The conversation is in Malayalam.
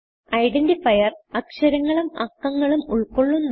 ഐഡന്റിഫയർ അക്ഷരങ്ങളും അക്കങ്ങളും ഉൾകൊള്ളുന്നു